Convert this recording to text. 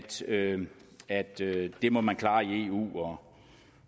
til at at det må man klare i eu